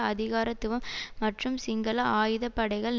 அதிகாரத்துவம் மற்றும் சிங்கள ஆயுத படைகள்